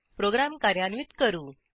program कार्यान्वित करू